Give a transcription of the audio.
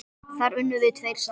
Þar unnum við tveir saman.